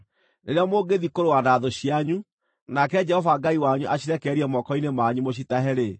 Rĩrĩa mũngĩthiĩ kũrũa na thũ cianyu, nake Jehova Ngai wanyu acirekererie moko-inĩ manyu mũcitahe-rĩ,